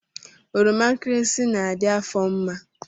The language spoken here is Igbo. Oroma nkirisi na-adị afọ mma